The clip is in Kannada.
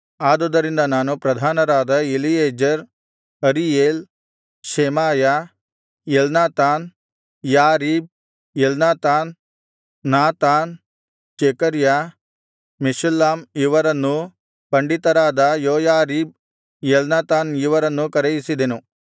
ಆದುದರಿಂದ ನಾನು ಪ್ರಧಾನರಾದ Eliezer Ariel Shemaiah Elnathan Jarib Elnathan Nathan Zechariah Meshullam ಇವರನ್ನೂ ಪಂಡಿತರಾದ ಯೋಯಾರೀಬ್ ಎಲ್ನಾತಾನ್ ಇವರನ್ನೂ ಕರೆಯಿಸಿದೆನು